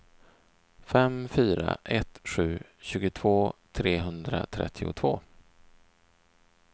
fem fyra ett sju tjugotvå trehundratrettiotvå